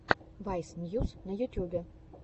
вайс ньюс на ютьюбе